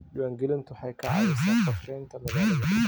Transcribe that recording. Diiwaangelintu waxay ka caawisaa qorshaynta magaalada.